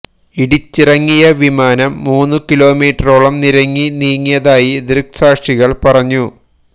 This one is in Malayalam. ഇടിച്ചിറങ്ങിയ വിമാനം മൂന്ന് കിലോമീറ്ററോളം നിരങ്ങി നീങ്ങിയതായി ദൃക്സാക്ഷികൾ പറഞ്ഞു